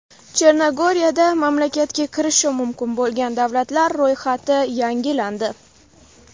Chernogoriyada mamlakatga kirishi mumkin bo‘lgan davlatlar ro‘yxati yangilandi.